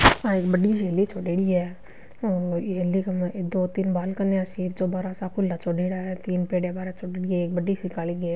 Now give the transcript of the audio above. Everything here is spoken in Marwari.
आ एक बढ़ी सी हेली छोडेडी है और ई हेली के माय दो तीन बालकनी सी चोबारा सा खुला छोड़्योड़ा है तीन पेडिया बाहरे छोडेडी है एक बढ़ी सी काली गेट --